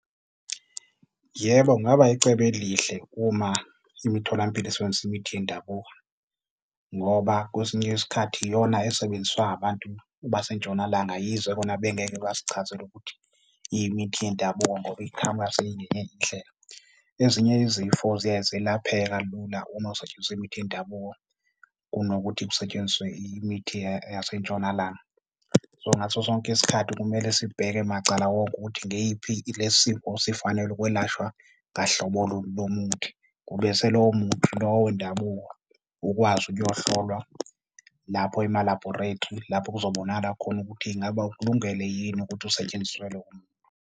Yebo, kungaba yicebo elihle uma imitholampilo isebenzisa imithi yendabuko ngoba kwesinye isikhathi iyona esebenziswa abantu baseNtshonalanga, yize kona bengeke basichazele ukuthi yimithi yendabuko ngoba iqhamuka seyingenye indlela. Ezinye izifo ziyaye zelapheka kalula uma kusetshenziswa imithi yendabuko kunokuthi kusetshenziswe imithi yaseNtshonalanga. So, ngaso sonke isikhathi kumele sibheke macala wonke ukuthi ngeyiphi, lesi sifo sifanele ukwelashwa ngaluhlobo luni lomuthi ebese lowo muthi lowo wendabuko ukwazi ukuyohlolwa lapho ema-laboratory, lapho kuzobonakala khona ukuthi ingaba ukulungele yini ukuthi usetshenziselwe umntu.